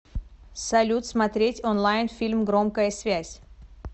салют смотреть онлайн фильм громкая связь